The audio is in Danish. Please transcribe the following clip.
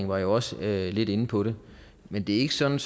var jo også lidt inde på det men det er ikke sådan